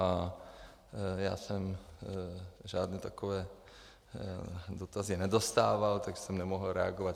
A já jsem žádné takové dotazy nedostával, tak jsem nemohl reagovat.